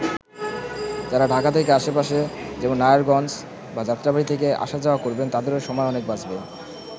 যারা ঢাকা থেকে আশেপাশে যেমন নারায়ণগঞ্জ বা যাত্রাবাড়ী থেকে আসা-যাওয়া করবেন তাদেরও সময় অনেক বাঁচবে।